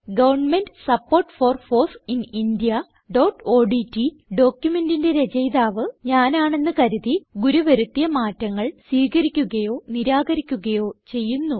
government support for foss in indiaഓഡ്റ്റ് ഡോക്യുമെന്റിന്റെ രചയിതാവ് ഞാനാണ് എന്ന് കരുതി ഗുരു വരുത്തിയ മാറ്റങ്ങൾ സ്വീകരിക്കുകയോ നിരാകരിക്കുകയോ ചെയ്യുന്നു